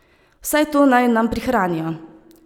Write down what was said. Vsaj to naj nam prihranijo.